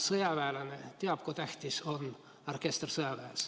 Sõjaväelane teab, kui tähtis on orkester sõjaväes.